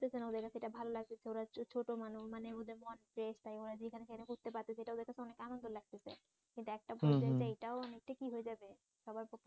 ওদের কাছে এটা ভাললাগতেছে ওরা ছোট মানুষ মানে ওদের মধ্যে তাই ওরা যেখানে সেখানে করতে পারতেছে এটা ওদের কাছে অনেক আনন্দ লাগতেছে কিন্তু পর্যায়ে যাই এটাও অনেকটা কী হয়ে যাবে